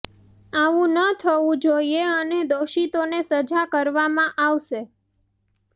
આવું ન થવું જોઇએ અને દોષિતોને સજા કરવામાં આવશે